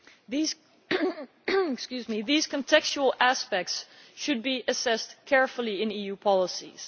These contextual aspects should be assessed carefully in EU policies.